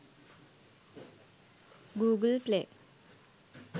google play